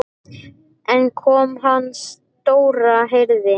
En konan hans Dóra heyrði.